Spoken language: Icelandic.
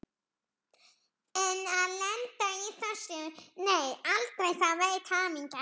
En að lenda í þessu, nei aldrei, það veit hamingjan.